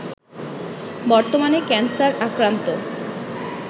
বর্তমানে ক্যানসার আক্রান্ত